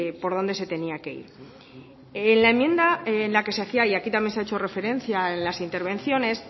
por donde se tenía que ir en la enmienda en la que se hacía y aquí también se ha hecho referencia en las intervenciones